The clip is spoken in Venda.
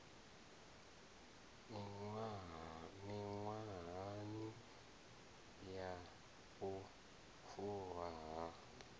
miṅwahani ya u fulwa ha